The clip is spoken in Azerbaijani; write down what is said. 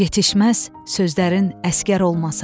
Yetişməz sözlərin əsgər olmasa.